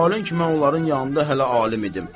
Məhalə ki, mən onların yanında hələ alim idim.